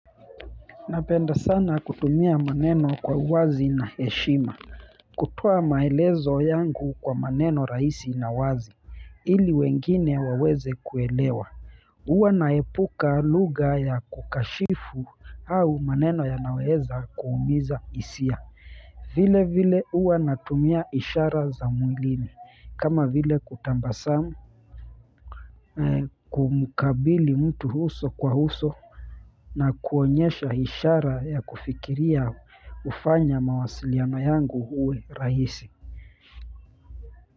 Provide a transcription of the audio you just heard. Napenda sana kutumia maneno kwa uwazi na heshima. Kutoa maelezo yangu kwa maneno rahisi na wazi, ili wengine waweze kuelewa. Huwa naepuka lugha ya kukashifu au maneno yanayoweza kuumiza hisia. Vile vile huwa natumia ishara za mwilini. Kama vile kutambasamu, kumukabili mtu huso kwa huso. Na kuonyesha ishara ya kufikiria hufanya mawasiliano yangu uwe rahisi.